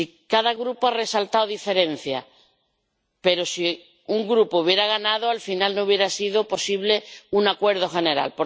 Cada Grupo ha resaltado diferencias, pero si un Grupo hubiera ganado al final, no hubiera sido posible un acuerdo general.